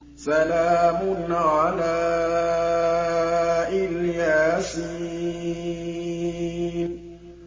سَلَامٌ عَلَىٰ إِلْ يَاسِينَ